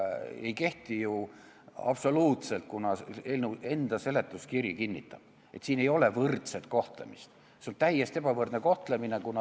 Aga sellel pole ju absoluutselt alust, kuna eelnõu seletuskirigi kinnitab, et ei ole võrdset kohtlemist, on täiesti ebavõrdne kohtlemine.